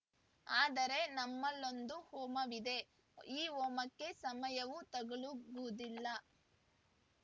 ಆದರೆ ನಮ್ಮಲ್ಲೊಂದು ಹೋಮವಿದೆ ಈ ಹೋಮಕ್ಕೆ ಸಮಯವೂ ತಗಲುವುದಿಲ್ಲ